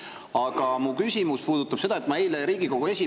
Aga mu küsimus.